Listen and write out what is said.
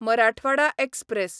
Marathwada express